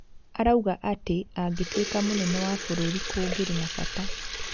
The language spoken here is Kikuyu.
Arauga atĩ angĩtuĩka mũnene wa bũrũri kũngĩrĩ na bata.